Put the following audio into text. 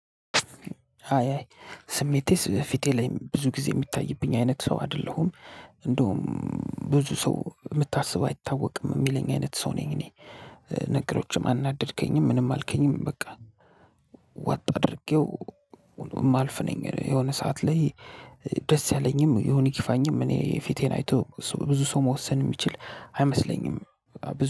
አይ አይ ስሜቴስ ፊቴ ላይ ብዙ ጊዜ የሚታይብኝ አይነት ሰው አይደለሁም። እንደውም ብዙ ሰው የምታስበው አይታወቅም የሚለኝ አይነት ሰው ነኝ። እኔ በነገሮችም አናደድከኝም ምንም አልከኝም በቃ። ዋጥ አድርጌው የማልፍ ነኝ። የሆነ ሰዓት ላይ። ደስ ያለኝም ይሁን ይክፋኝም እኔ ፊቴን አይቶ ብዙ ሰው መወሰን የሚችል አይመስለኝም።